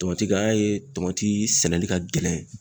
Tɔmatik an y'a ye tɔmati sɛnɛli ka gɛlɛn.